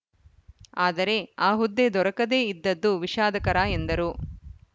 ಆದರೆ ಆ ಹುದ್ದೆ ದೊರಕದೇ ಇದ್ದದ್ದು ವಿಷಾದಕರ ಎಂದರು